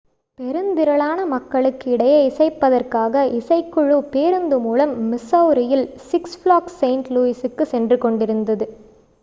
பெருந்திரளான மக்களுக்கு இடையே இசைப்பதற்காக இசைக்குழு பேருந்து மூலம் மிசௌரியில் six ஃப்ளாக்ஸ் செயின்ட் லூயிசுக்கு சென்று கொண்டிருந்தது